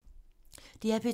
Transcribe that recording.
DR P2